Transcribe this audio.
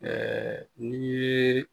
n'i ye